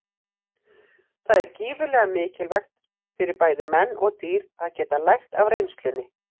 Það er gífurlega mikilvægt fyrir bæði menn og dýr að geta lært af reynslunni.